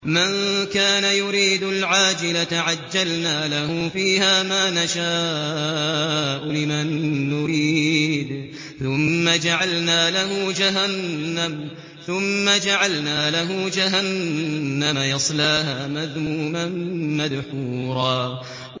مَّن كَانَ يُرِيدُ الْعَاجِلَةَ عَجَّلْنَا لَهُ فِيهَا مَا نَشَاءُ لِمَن نُّرِيدُ ثُمَّ جَعَلْنَا لَهُ جَهَنَّمَ يَصْلَاهَا مَذْمُومًا مَّدْحُورًا